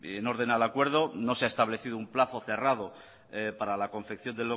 en orden al acuerdo no se ha establecido un plazo cerrado para la confección